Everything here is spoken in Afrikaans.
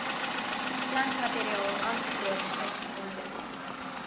plantmateriaal aangekoop uitgesonderd